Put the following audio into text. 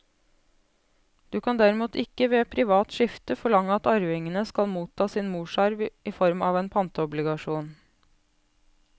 Du kan derimot ikke ved privat skifte forlange at arvingene skal motta sin morsarv i form av en pantobligasjon.